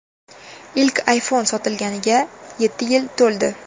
Ilk iPhone sotilganiga yetti yil to‘ldi.